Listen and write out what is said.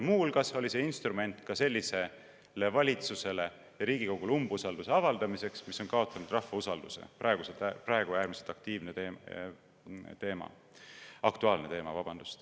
Muu hulgas oli see instrument ka sellisele valitsusele ja Riigikogule umbusalduse avaldamiseks, mis olid kaotanud rahva usalduse – praegu äärmiselt aktuaalne teema.